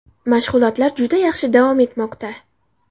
Mashg‘ulotlar juda yaxshi davom etmoqda.